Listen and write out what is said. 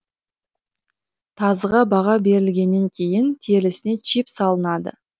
тазыға баға берілгеннен кейін терісіне чип салынады